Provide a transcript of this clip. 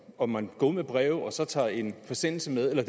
om man går ud med breve og så tager en forsendelse med eller